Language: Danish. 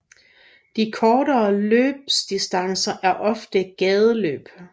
De kortere løbsdistancer er ofte gadeløb